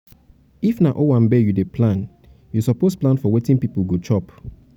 if um na owanbe you dey plan you suppose plan for wetin pipo um go chop